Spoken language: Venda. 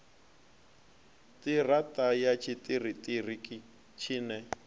ṱira ṱa ya tshiṱiriki tshine